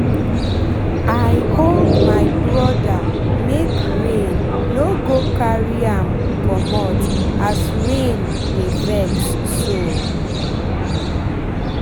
i hold my brother make rain no go carry am commot as rain dey vex so